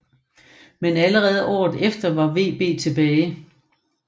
Men allerede året efter var VB tilbage